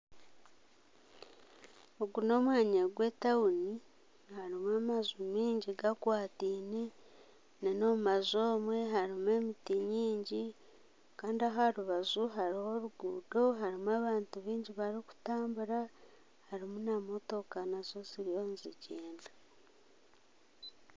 Ogu n'omwanya gwe tauni harimu amaju maingi gakwataine omu maju omwe harimu emiti mingi Kandi aho aha rubaju hariho amaju maingi gakwataine harimu abantu barikutambura harimu na motoka nazo ziriyo nizigyenda